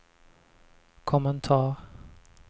kommentar